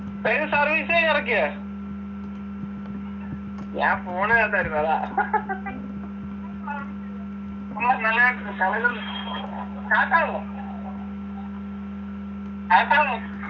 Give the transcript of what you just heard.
വേഗം service ചെയ്തെറക്കി ഞാൻ phone നകത്ത്‌ ആയിരുന്നു അതാ